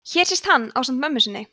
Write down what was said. hér sést hann ásamt mömmu sinni